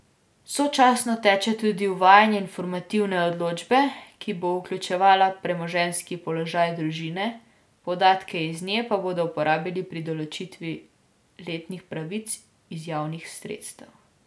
Sočasno teče tudi uvajanje informativne odločbe, ki bo vključevala premoženjski položaj družine, podatke iz nje pa bodo uporabili pri določitvi letnih pravic iz javnih sredstev.